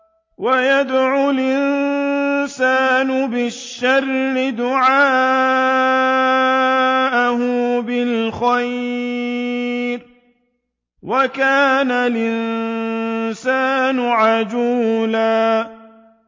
وَيَدْعُ الْإِنسَانُ بِالشَّرِّ دُعَاءَهُ بِالْخَيْرِ ۖ وَكَانَ الْإِنسَانُ عَجُولًا